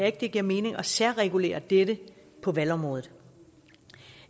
ikke det giver mening at særregulere dette på valgområdet